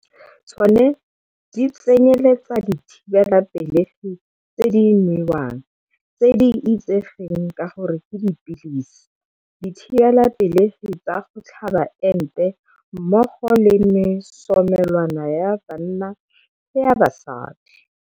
Tsona di tsenyeletsa dithibelapelegi tse di nwewang, tse di itsegeng ka gore ke dipilisi, dithibelapelegi tsa go tlhaba ente, mmogo le mesomelwana ya banna le ya basadi.